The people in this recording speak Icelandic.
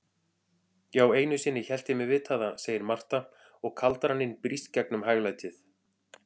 Já, einusinni hélt ég mig vita það, segir Marta og kaldraninn brýst gegnum hæglætið.